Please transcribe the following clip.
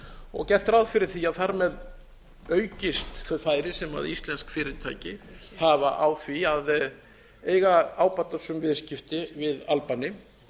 og gert ráð fyrir því að þar með aukist þau færi sem íslenskt fyrirtæki hafa á því að eiga ábatasöm viðskipti við albani